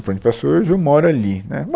Foi onde passou, hoje eu moro ali, né. Bom